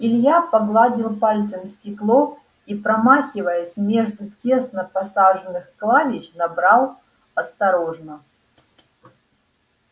илья погладил пальцем стекло и промахиваясь между тесно посаженных клавиш набрал осторожно